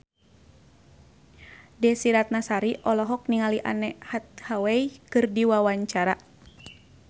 Desy Ratnasari olohok ningali Anne Hathaway keur diwawancara